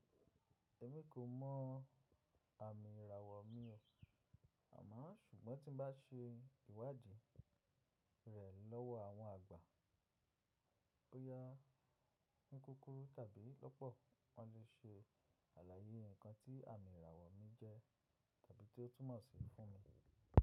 Èmi kò mọ àmì ìràwọ̀ mi o. Àmọ́ sùgbọ́n tí n bá ṣe ìwádìí rẹ̀ lọ́wọ́ àwọn àgbà bóyá ni kúkúrú tàbí lọ́pọ̀, wọ́n le ṣe àlàyé nǹkan tí àmì ìràwọ̀ mi jẹ́ tàbí tí ó túmọ̀ sí fún mi.